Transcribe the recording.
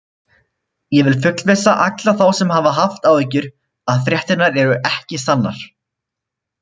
Ég vil fullvissa alla þá sem hafa haft áhyggjur að fréttirnar eru ekki sannar.